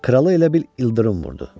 Kralı elə bil ildırım vurdu.